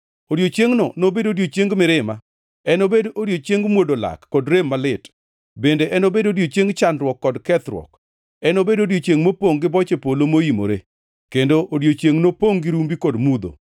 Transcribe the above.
Odiechiengʼno nobed odiechieng mirima, enobed odiechieng mwodo lak kod rem malit, bende enobed odiechieng chandruok gi kethruok, enobed odiechiengʼ mopongʼ gi boche polo moimore, kendo odiechiengʼ mopongʼ gi rumbi kod mudho.